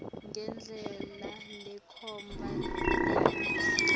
ngendlela lekhomba kuvisisa